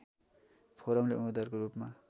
फोरमले उम्मेद्वारको रूपमा